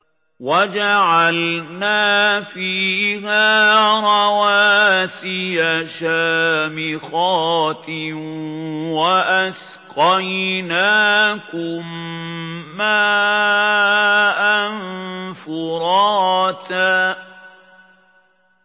وَجَعَلْنَا فِيهَا رَوَاسِيَ شَامِخَاتٍ وَأَسْقَيْنَاكُم مَّاءً فُرَاتًا